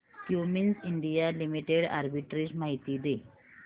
Cummins India limited arbitrage माहिती दे